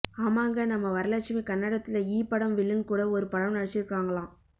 ஆமாங்க நம்ம வரலட்சுமி கன்னடத்துல ஈ படம் வில்லன் கூட ஒரு படம் நடிச்சிருக்காங்களாம்